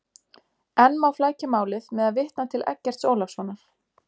Enn má flækja málið með að vitna til Eggerts Ólafssonar.